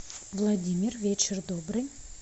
владимир вечер добрый